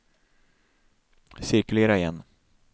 cirkulera igen